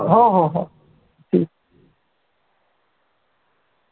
हो हो हो ठीक